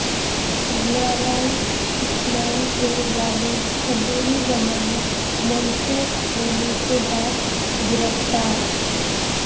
گلالئی اسماعیل کے والد عبوری ضمانت منسوخ ہونے کے بعد گرفتار